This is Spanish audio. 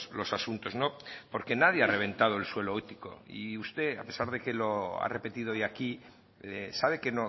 los asuntos porque nadie ha reventado el suelo ético y usted a pesar de que lo ha repetido hoy aquí sabe que